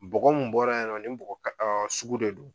Bɔgɔ mun bɔra yen nɔ, nin bɔgɔ ɔɔ sugu de don.